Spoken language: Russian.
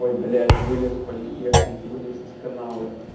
ой блять вылез политехник вылез из канала